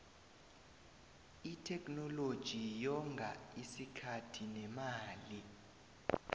itheknoloji yonga isikhathi nemali